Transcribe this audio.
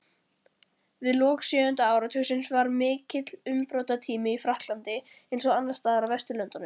Við lok sjöunda áratugarins var mikill umbrotatími í Frakklandi, eins og annars staðar á Vesturlöndum.